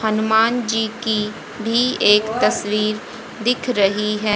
हनुमान जी की भी एक तस्वीर दिख रही है।